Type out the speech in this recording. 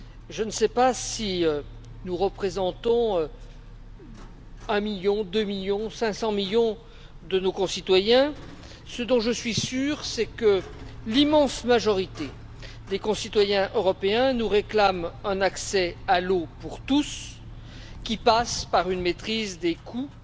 Je ne sais si nous représentons un million, deux millions ou 500 millions de nos concitoyens, mais ce dont je suis sûr, c'est que l'immense majorité des citoyens européens nous réclament un accès à l'eau pour tous, qui passe par une maîtrise des coûts,